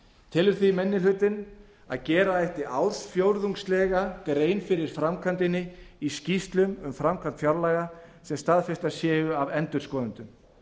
telur því annar minni hluti að gera ætti ársfjórðungslega grein fyrir framkvæmdinni í skýrslum um framkvæmd fjárlaga sem staðfestar séu af endurskoðendum